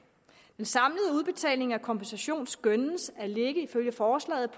den af kompensation skønnes ifølge forslaget